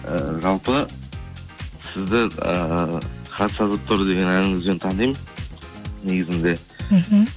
і жалпы сізді ыыы хат жазып тұр деген әніңізден танимын негізінде мхм